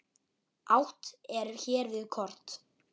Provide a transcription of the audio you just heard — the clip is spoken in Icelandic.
Átt er hér við kort.